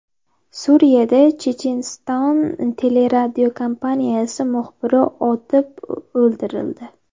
Suriyada Checheniston teleradiokompaniyasi muxbiri otib o‘ldirildi.